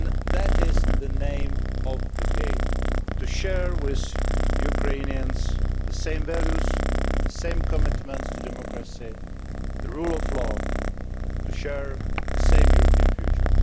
That is the name of the game to share with Ukrainians the same values, the same commitments to democracy and the rule of law, and to share the same European future.